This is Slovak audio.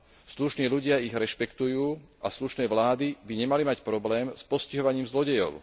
Slušní ľudia ich rešpektujú a slušné vlády by nemali mať problém s postihovaním zlodejov.